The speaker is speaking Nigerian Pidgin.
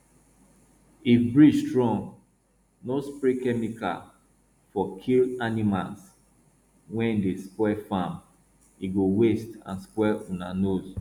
if breeze strong no spray chemical for kill animals wey dey spoil farm e go waste and spoil una nose